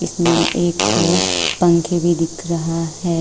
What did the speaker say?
इसमें एक पंखे भी दिख रहा है।